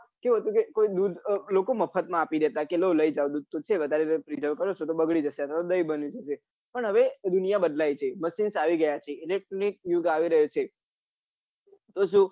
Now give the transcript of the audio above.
શું હોય છે લોકો મફતમાં આપી દેતા હોય છે કે લઈ જાઉં દુઘ તો છે વઘારે પ્રીજરવ છો તો બગડી જશે અથવા દહીં બની જશે પન હવે દુનિયા બદલાય છે machine આવી ગયા છે electronic યુગ આવી રહ્યો છે તો શું